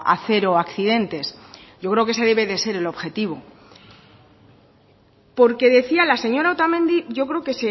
a cero accidentes yo creo que ese debe de ser el objetivo porque decía la señora otamendi yo creo que